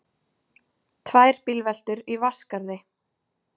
Tvær bílveltur í Vatnsskarði